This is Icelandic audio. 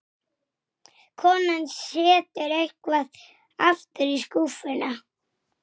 Og riðuðu.